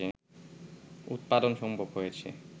উৎপাদন সম্ভব হয়েছে